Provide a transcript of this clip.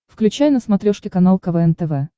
включай на смотрешке канал квн тв